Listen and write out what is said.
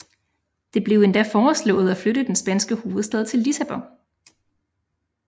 Det blev endda foreslået at flytte den spanske hovedstad til Lissabon